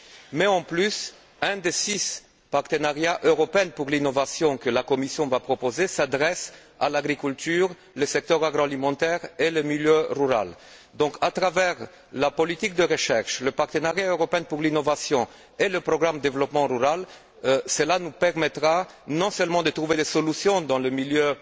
mais en plus, un des six partenariats européens pour l'innovation que la Commission va proposer s'adresse à l'agriculture, au secteur agroalimentaire et au milieu rural. La politique de recherche, le partenariat européen pour l'innovation et le programme de développement rural nous permettront donc non seulement de trouver des solutions dans le milieu